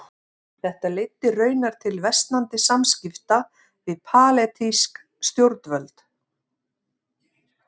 Þetta leiddi raunar til versnandi samskipta við palestínsk stjórnvöld.